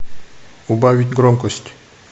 убавить громкость